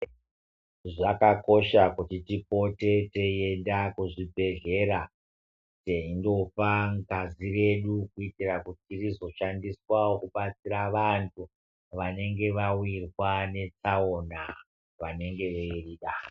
Zvakakosha kuti tipote teienda kuzvibhedhlera teindopa ngazi redu kuti tizoshandisa kudetsera vantu vanenge vahwirwa netsaona Vanenge veirida.